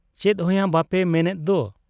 ᱪᱮᱫᱦᱚᱸᱭᱟ ᱵᱟᱯᱮ ᱢᱮᱱᱮᱫ ᱫᱚ ?